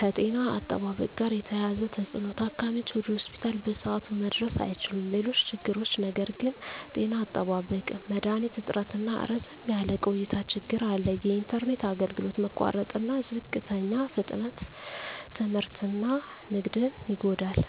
ከጤና አጠባበቅ ጋር የተያያዘ ተፅዕኖ ታካሚዎች ወደ ሆስፒታል በሰዓቱ መድረስ አይችሉም። ሌሎች ችግሮች ነገር ግን… ጤና አጠባበቅ መድሀኒት እጥረትና ረዘም ያለ ቆይታ ችግር አለ። የኢንተርኔት አገልግሎት መቋረጥና ዝቅተኛ ፍጥነት ትምህርትና ንግድን ይጎዳል።